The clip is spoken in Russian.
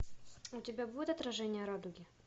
у тебя будет отражение радуги